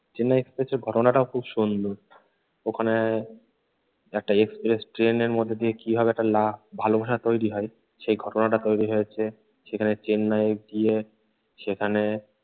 চেন্নাই এক্সপ্রেসের ঘটনাটাও খুব সুন্দর। ওখানে একটা এক্সপ্রেস ট্রেনের মধ্যে দিয়ে কিভাবে একটা লা ভালোবাসা তৈরি হয় সেই ঘটনাটা তৈরি হয়েছে। সেখানে চেন্নাইয়ে গিয়ে সেখানে